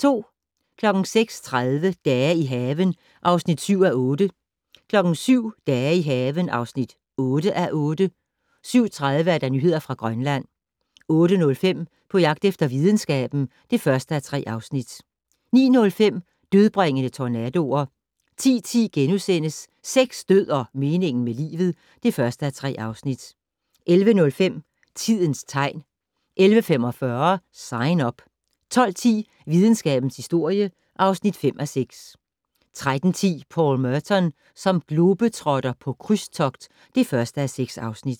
06:30: Dage i haven (7:8) 07:00: Dage i haven (8:8) 07:30: Nyheder fra Grønland 08:05: På jagt efter videnskaben (1:3) 09:05: Dødbringende tornadoer 10:10: Sex, død og meningen med livet (1:3)* 11:05: Tidens tegn 11:45: Sign Up 12:10: Videnskabens historie (5:6) 13:10: Paul Merton som globetrotter - på krydstogt (1:6)